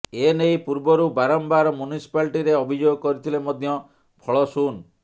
ଏ ନେଇ ପୂର୍ବରୁ ବାରମ୍ବାର ମ୍ୟୁନିସପାଲିଟିରେ ଅଭିଯୋଗ କରିଥିଲେ ମଧ୍ୟ ଫଳ ଶୂନ୍